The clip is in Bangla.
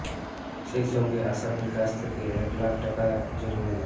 সেই সঙ্গে আসামির কাছ থেকে এক লাখ টাকা জরিমানা